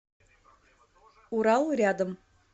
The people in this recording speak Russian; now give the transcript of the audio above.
урал рядом